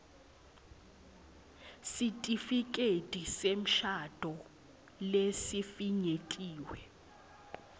sitifiketi semshado lesifinyetiwe